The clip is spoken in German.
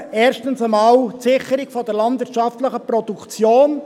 Erstens: die Sicherung der landwirtschaftlichen Produktion;